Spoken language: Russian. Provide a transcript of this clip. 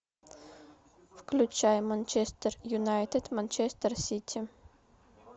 включай манчестер юнайтед манчестер сити